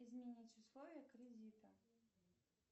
изменить условия кредита